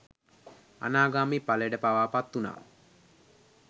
අනාගාමි ඵලයට පවා පත්වූනා.